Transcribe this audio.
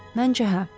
Məncə hə.